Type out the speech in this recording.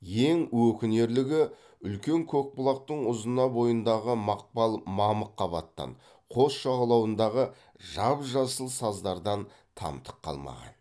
ең өкінерлігі үлкен көкбұлақтың ұзына бойындағы мақпал мамық қабаттан қос жағалауындағы жап жасыл саздардан тамтық қалмаған